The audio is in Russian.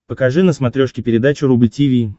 покажи на смотрешке передачу рубль ти ви